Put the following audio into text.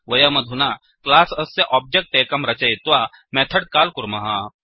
वयमधुना क्लास् अस्य ओब्जेक्ट् एकं रचयित्वा मेथड् काल् कुर्मः